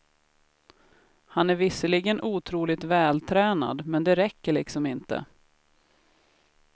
Han är visserligen otroligt vältränad men det räcker liksom inte.